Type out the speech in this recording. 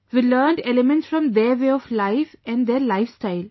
We learnt elements from their way of life, their lifestyle